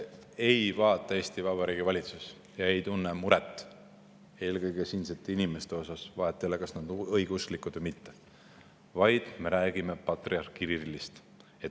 Ei vaata Eesti Vabariigi valitsus mitte siinsete inimeste peale ega tunne muret nende pärast, vahet ei ole, kas nad on õigeusklikud või mitte, vaid me räägime patriarh Kirillist.